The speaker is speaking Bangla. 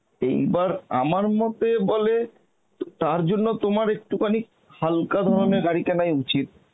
এইবার আমার মতে বলে ত~ তার জন্য তোমার একটুখানি হালকা গাড়ি কেনাই উচিত